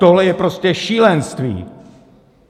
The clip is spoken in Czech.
Tohle je prostě šílenství!